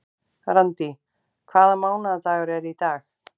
Randý, hvaða mánaðardagur er í dag?